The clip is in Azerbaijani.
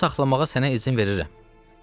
Bunu saxlamağa sənə izin verirəm.